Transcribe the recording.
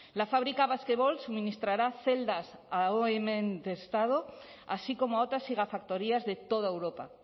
la fábrica basquevolt suministrará celdas a así como a otras gigafactorías de toda europa